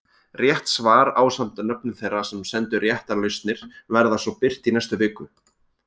Rétt svar ásamt nöfnum þeirra sem sendu réttar lausnir verða svo birt í næstu viku.